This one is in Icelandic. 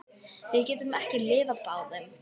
Við getum ekki lifað báðum.